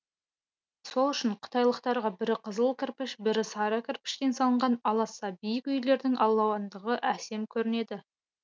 сол үшін қытайлықтарға бірі қызыл кірпіш бірі сары кірпіштен салынған аласа биік үйлердің алуандығы әсем көрінеді